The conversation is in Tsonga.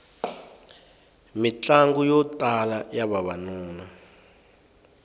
mitlangu yo tala ya vavanuna